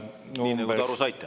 Nii nagu te aru saite.